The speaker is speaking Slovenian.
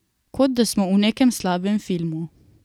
Kot da smo v nekem slabem filmu.